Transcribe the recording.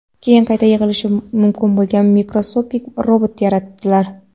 keyin qayta yig‘ilishi mumkin bo‘lgan mikroskopik robot yaratdilar.